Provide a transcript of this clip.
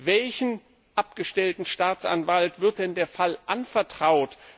Welchem abgestellten Staatsanwalt wird denn der Fall anvertraut?